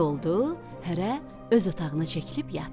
Gecə oldu, hərə öz otağına çəkilib yatdı.